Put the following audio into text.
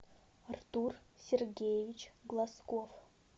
артур сергеевич глазков